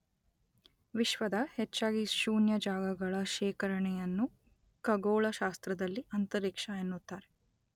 ವಿಶ್ವದ ಹೆಚ್ಚಾಗಿ ಶೂನ್ಯ ಜಾಗಗಳ ಶೇಖರಣೆಯನ್ನು ಖಗೋಳಶಾಸ್ತ್ರದಲ್ಲಿ ಅಂತರಿಕ್ಷ ಎನ್ನುತ್ತಾರೆ.